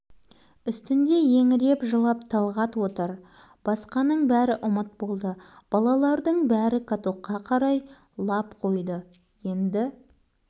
бұл бетімен жылжи берсе мына каток алдымен соларды жаншып өтеді сонан соң барып үйді құлатады